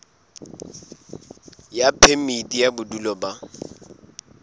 ya phemiti ya bodulo ba